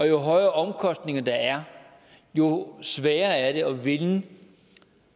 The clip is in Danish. jo højere omkostninger der er jo sværere er det at vinde